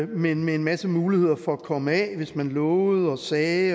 men med en masse muligheder for at komme af hvis man lovede og sagde